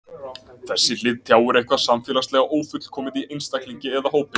Þessi hlið tjáir eitthvað samfélagslega ófullkomið í einstaklingi eða hópi.